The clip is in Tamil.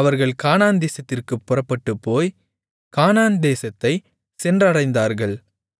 அவர்கள் கானான் தேசத்திற்குப் புறப்பட்டுப்போய் கானான் தேசத்தைச் சென்றடைந்தார்கள்